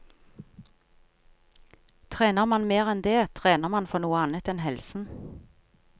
Trener man mer enn det, trener man for noe annet enn helsen.